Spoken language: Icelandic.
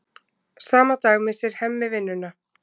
Sama dag missir Hemmi vinnuna.